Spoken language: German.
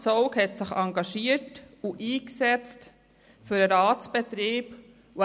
Zaugg hat sich engagiert und für den Ratsbetrieb eingesetzt.